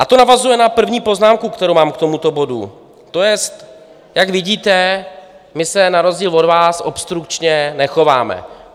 A to navazuje na první poznámku, kterou mám k tomuto bodu, to jest, jak vidíte, my se na rozdíl od vás obstrukčně nechováme.